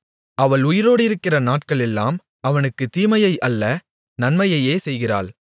அவள் உயிரோடிருக்கிற நாட்களெல்லாம் அவனுக்குத் தீமையை அல்ல நன்மையையே செய்கிறாள்